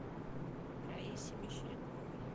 раисе мещеряковой